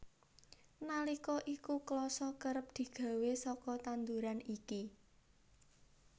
Nalika iku klasa kerep digawé saka tanduran iki